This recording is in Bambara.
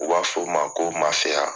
U b'a fɔ o ma ko Masaya